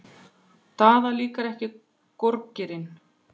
Daða líkar ekki gorgeirinn.